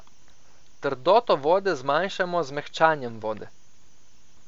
Trdoto vode zmanjšamo z mehčanjem vode.